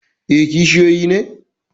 E, kishiyoyi ne.?